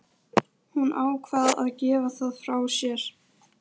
Þegar allir voru farnir héldum við okkar eigin nýársveislu.